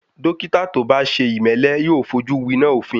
Dọ́kítà tó bá ṣe ìmẹ́lẹ́ yóò fojú winá òfin.